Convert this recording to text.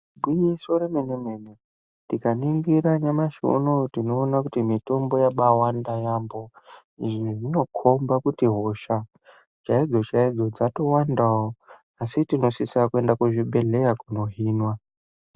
Igwinyiso remene mene tikaningira nyamashi uno tinoona kuti mitombo yabawandawo yambo. Izvi zvinokomba kuti hosha chaidzo chaidzo dzatowandawo. Asi tinosisa kuenda kuzvibhedhlera kundohinwa.